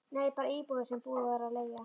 Nei, bara íbúðir sem búið var að leigja